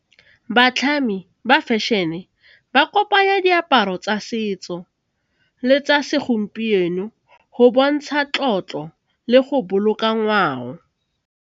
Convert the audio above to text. Batlhami ba fashion-e ba kopanya diaparo tsa setso le tsa segompieno go bontsha tlotlo le go boloka ngwao.